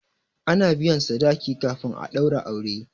a na biyan sadaki kafin a daura aure